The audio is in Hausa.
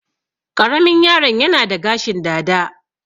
Ƙaramin yaro'n yana da gashin dada.